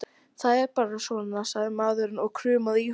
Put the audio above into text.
Það er bara svona, sagði maðurinn og kumraði í honum.